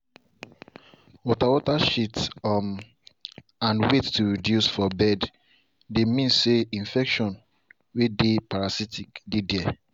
water water shit um and weight to reduce for birds dey means say infections way dey parasitic dey there.